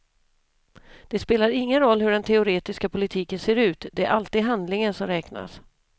Det spelar ingen roll hur den teoretiska politiken ser ut, det är alltid handlingen som räknas.